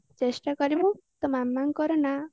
ଚେଷ୍ଟା କରିବୁ ତୋ ମାମାଙ୍କର ନା